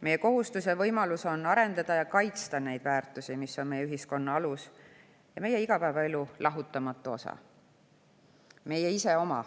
Meie kohustus ja võimalus on arendada ja kaitsta neid väärtusi, mis on meie ühiskonna alus ja meie igapäevaelu lahutamatu osa, meie iseoma,